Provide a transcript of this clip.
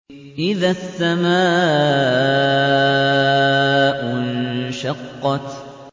إِذَا السَّمَاءُ انشَقَّتْ